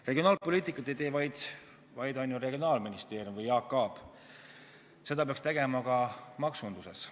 Regionaalpoliitikat ei tee ainult regionaalministeerium või Jaak Aab, seda peaks tegema ka maksunduses.